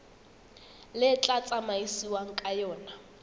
le tla tsamaisiwang ka yona